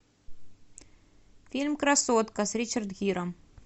фильм красотка с ричардом гиром